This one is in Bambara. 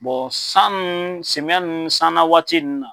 Bɔn san nu semiyɛ nu san na waati nu na